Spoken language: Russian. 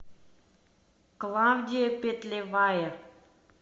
клавдия петлевая